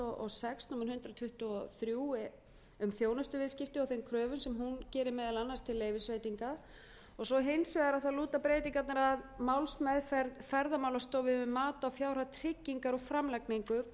sex númer hundrað tuttugu og þrjú þjónustuviðskipti á þeim kröfum sem hún gerir meðal annars til leyfisbreytinga og svo hins vegar þá lúta breytingarnar að málsmeðferð ferðamálastofu um mat á fjárhæð tryggingar og framlagningu